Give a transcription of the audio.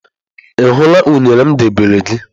Ị hụla unere m debere gị?